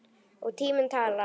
Og tíminn talar.